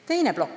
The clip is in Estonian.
Teine plokk.